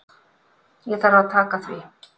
Ég þarf að taka því.